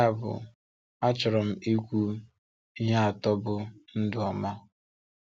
Ya bụ, achọrọ m ikwu ihe atọ bụ́ “Ndụ Ọ́ma.”